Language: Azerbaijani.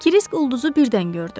Kirisk ulduzu birdən gördü.